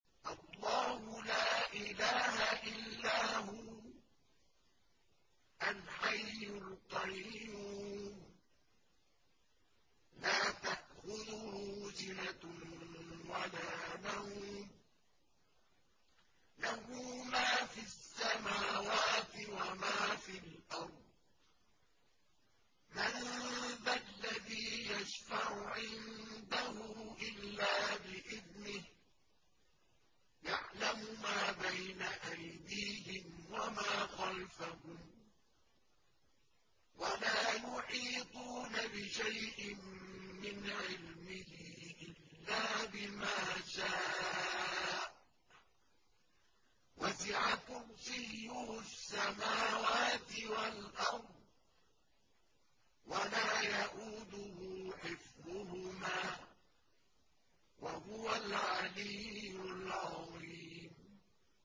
اللَّهُ لَا إِلَٰهَ إِلَّا هُوَ الْحَيُّ الْقَيُّومُ ۚ لَا تَأْخُذُهُ سِنَةٌ وَلَا نَوْمٌ ۚ لَّهُ مَا فِي السَّمَاوَاتِ وَمَا فِي الْأَرْضِ ۗ مَن ذَا الَّذِي يَشْفَعُ عِندَهُ إِلَّا بِإِذْنِهِ ۚ يَعْلَمُ مَا بَيْنَ أَيْدِيهِمْ وَمَا خَلْفَهُمْ ۖ وَلَا يُحِيطُونَ بِشَيْءٍ مِّنْ عِلْمِهِ إِلَّا بِمَا شَاءَ ۚ وَسِعَ كُرْسِيُّهُ السَّمَاوَاتِ وَالْأَرْضَ ۖ وَلَا يَئُودُهُ حِفْظُهُمَا ۚ وَهُوَ الْعَلِيُّ الْعَظِيمُ